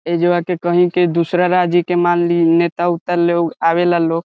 एज्वा के कहीं के दूसरा राज्य के मान लिहिं नेता-उता लोग आवेला लो --